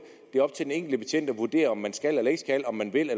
det er op til den enkelte betjent at vurdere om man skal eller ikke skal om man vil